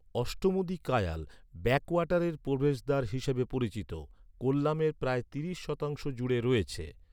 অষ্টমুদি কায়াল, ব্যাকওয়াটারের প্রবেশদ্বার হিসাবে পরিচিত, কোল্লামের প্রায় তিরিশ শতাংশ জুড়ে রয়েছে।